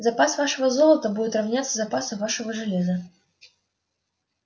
запас вашего золота будет равняться запасу вашего железа